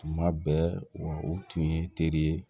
Tuma bɛɛ wa u tun ye teri ye